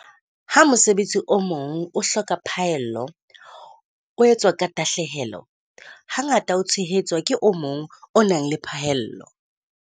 Ha mosebetsi o mong o hloka phaello, o etswa ka tahlehelo, hangata o tshehetswa ke o mong o nang le phaello.